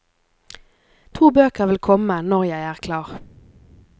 To bøker vil komme når jeg er klar.